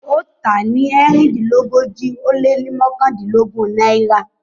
ó tà á ní Erindinlogoji o le mọkandinlogun naira.